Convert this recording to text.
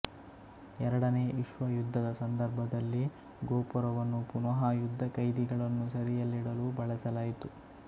ಎರಡನೇ ವಿಶ್ವ ಯುದ್ಧದ ಸಂದರ್ಭದಲ್ಲಿ ಗೋಪುರವನ್ನು ಪುನಃ ಯುದ್ಧ ಕೈದಿಗಳನ್ನು ಸೆರೆಯಲ್ಲಿಡಲು ಬಳಸಲಾಯಿತು